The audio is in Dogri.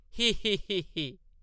ही ही ही ।